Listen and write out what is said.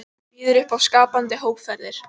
Býður upp á skapandi hópferðir